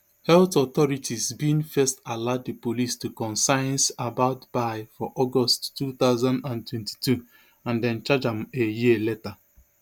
health authorities bin first alert di police to concerns about bye for august two thousand and twenty-two and dem charge am a year later